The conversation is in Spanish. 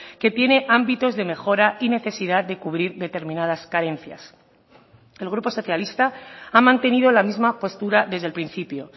que tiene ámbitos de mejora y necesidad de cubrir determinadas carencias el grupo socialista ha mantenido la misma postura desde el principio